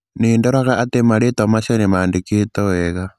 Nĩ ndĩroraga atĩ marĩĩtwa macio nĩ mandĩkĩtwo wega